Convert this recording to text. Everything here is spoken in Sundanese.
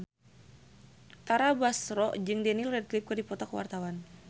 Tara Basro jeung Daniel Radcliffe keur dipoto ku wartawan